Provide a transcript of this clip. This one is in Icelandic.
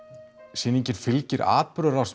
sýningin fylgir atburðarás